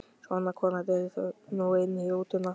Svona, kona, drífðu þig nú inn í rútuna